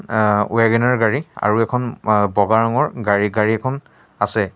অ Wagon R গাড়ী আৰু এখন আ বগা ৰঙৰ গাড়ী গাড়ী এখন আছে।